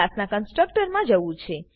ના કંસ્ટ્રક્ટરમાં જવું છે